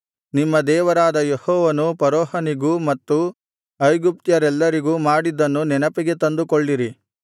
ನಿಮ್ಮ ದೇವರಾದ ಯೆಹೋವನು ಫರೋಹನಿಗೂ ಮತ್ತು ಐಗುಪ್ತ್ಯರೆಲ್ಲರಿಗೂ ಮಾಡಿದ್ದನ್ನು ನೆನಪಿಗೆ ತಂದುಕೊಳ್ಳಿರಿ